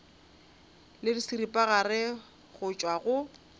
le seripagare go tšwa go